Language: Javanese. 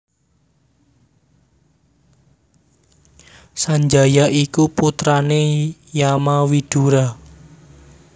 Sanjaya iku putrane Yamawidura